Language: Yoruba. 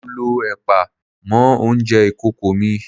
Mo lọ ẹ̀pà mọ́ oúnjẹ ìkókó mi.